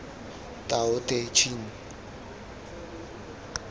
tao te ching